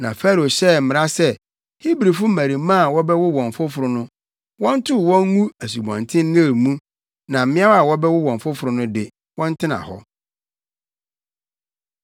Na Farao hyɛɛ mmara sɛ Hebrifo mmarimaa a wɔbɛwo wɔn foforo no, wɔntow wɔn ngu Asubɔnten Nil mu na mmeawa a wɔbɛwo wɔn foforo no de, wɔntena hɔ.